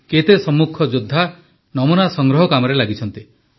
କେତେ ସମ୍ମୁଖ ଯୋଦ୍ଧା ନମୁନା ସଂଗ୍ରହ କାମରେ ଲାଗିଛନ୍ତି